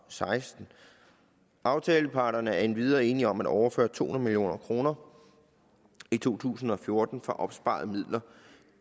seksten aftaleparterne er endvidere enige om at overføre to hundrede million kroner i to tusind og fjorten fra opsparede midler